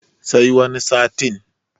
sai wani satin